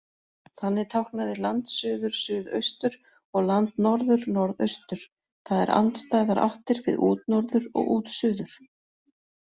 Þannig táknaði landsuður suðaustur, og landnorður, norðaustur, það er andstæðar áttir við útnorður og útsuður.